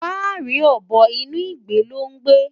Fáàrí ọ̀bọ inú ìgbé ló ń gbé.